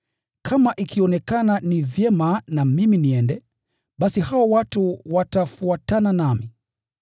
Kama ikionekana ni vyema na mimi niende, basi hao watu watafuatana nami.